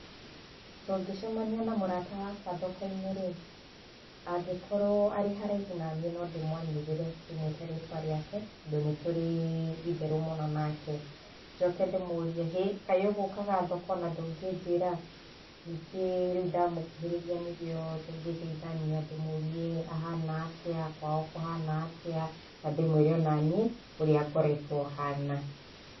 Tũngĩcemania na mũrata wakwa thoko-inĩ rĩ angĩkorwo arĩ haraihu na niĩ no ndĩmwanĩrĩre ndĩ mwĩte rĩtwa rĩake tondũ nĩ tũrĩ itherũ mũno nake, njoke ndĩ mũrie "hĩ kaĩ ũgũkaga thoko na ndũngĩnjĩra?" ningĩ rĩu ndamũkuhĩrĩria nĩrĩo tũngĩgeithania ndĩmũrie ahana atĩa, kwao kũhana atĩa na ndĩmwĩre ona niĩ ũrĩa ngoretwo hana.